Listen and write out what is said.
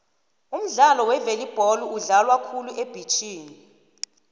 umdlalo wevolibholo udlalwa khulu ebhitjhini